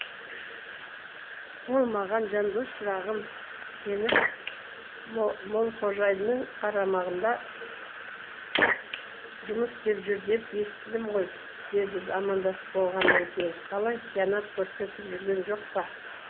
ол маған жандос шырағым сені молқожинның қарамағында жұмыс істеп жүр деп естідім ғой деді амандасып болғаннан кейін қалай қиянат көрсетіп жүрген жоқ па